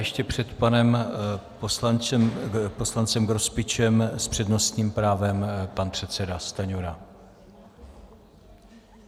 Ještě před panem poslancem Grospičem s přednostním právem pan předseda Stanjura.